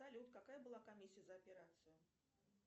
салют какая была комиссия за операцию